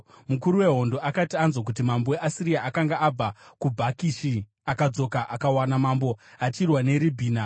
Mukuru wehondo akati anzwa kuti mambo weAsiria akanga abva kuBhakishi, akadzoka akawana mambo achirwa neRibhina.